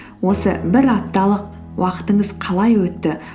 осы бір апталық уақытыңыз қалай өтті